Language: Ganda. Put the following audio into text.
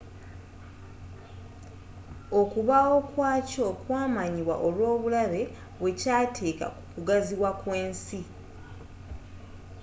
okubaawo kwakyo kwamanyibwa olwobulabe bwekyaateeka kukugaziwa kwensi